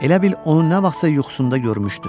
Elə bil onu nə vaxtsa yuxusunda görmüşdü.